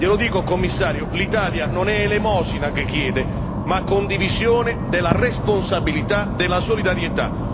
Glielo dico, Commissario, l'Italia non è elemosina che chiede, ma condivisione della responsabilità della solidarietà.